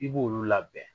I b'olu labɛn